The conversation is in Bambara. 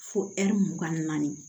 Fo ɛri mugan ni naani